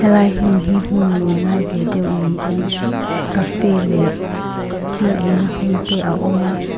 helai hmun hi hmun lûn lai ve deuh niin cafe leh thil eina hmun te a awm a.